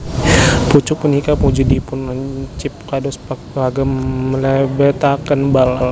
Pucuk punika wujudipun lancip kados paku kagem mlebetaken bal